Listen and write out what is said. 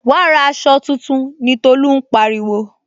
Wa ra aṣọ tuntun ni Tolu máa ń pariwo